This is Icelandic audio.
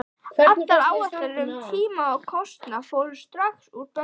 Allar áætlanir um tíma og kostnað fóru strax úr böndum.